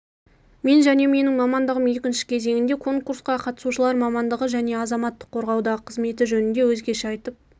мен және менің мамандығым екінші кезеңінде конкурсқа қатысушылар мамандығы және азаматтық қорғаудағы қызметі жөнінде өзгеше айтып